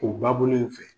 O ba bolo in fɛ